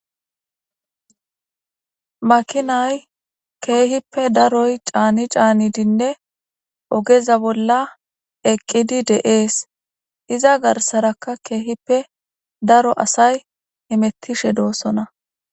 Makinay keehippe daroy caani caanidinne ogeza bolla eqqidi dees. Iza garsaraka keehippe daroy asay hamettishe doosona.